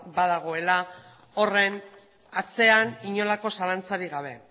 badagoela horren atzean inolako zalantzarik gabe